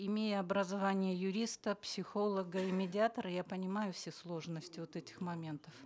имея образование юриста психолога и медиатора я понимаю все сложности вот этих моментов